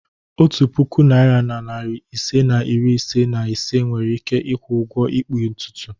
Otu puku naịra na narị ise na iri ise na ise nwere ike ịkwụ ụgwọ ịkpụ ntutu.